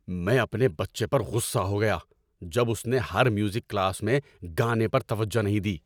میں اپنے بچے پر غصہ ہو گیا جب اس نے ہر میوزک کلاس میں گانے پر توجہ نہیں دی۔